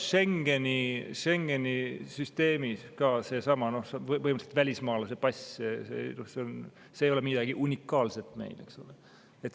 Ja ka Schengeni süsteemis on olemas dokument, mis on põhimõtteliselt välismaalase pass, see ei ole midagi unikaalset.